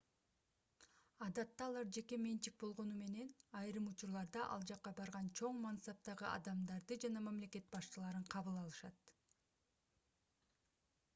адатта алар жеке менчик болгону менен айрым учурларда ал жакка барган чоң мансаптагы адамдарды жана мамлекет башчыларын кабыл алышат